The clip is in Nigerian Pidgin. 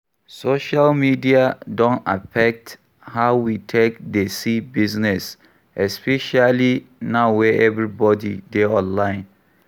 Social media don affect how we take dey see business especially now wey everybody dey online